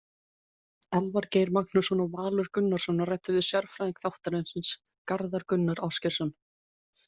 Elvar Geir Magnússon og Valur Gunnarsson ræddu við sérfræðing þáttarins, Garðar Gunnar Ásgeirsson.